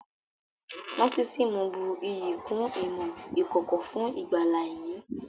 Nósísíìmù bù iyì kún ìmọ̀ ìkọ̀kọ̀ fún ìgbàlà ẹ̀mí